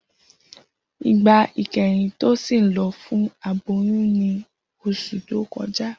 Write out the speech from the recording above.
Igba ikẹhin Tosin lọ fun aboyun ni oṣu to kọja.